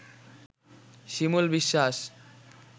Shimul Biswas